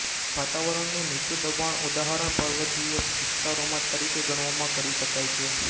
વાતાવરણનું નીચું દબાણ ઉદાહરણ પર્વતીય વિસ્તારોમાં તરીકે ગણવામાં કરી શકાય છે